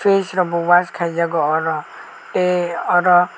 face rokbo wash kaijago oro tei oro.